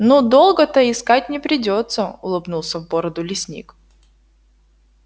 ну долго-то искать не придётся улыбнулся в бороду лесник